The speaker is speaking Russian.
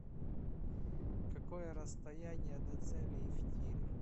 какое расстояние до целей в тире